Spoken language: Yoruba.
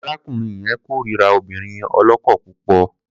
Aráùnrin yẹn kórira obìnrin ọlọ́kọ púpọ̀.